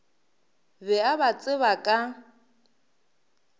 be a ba tseba ka